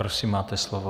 Prosím, máte slovo.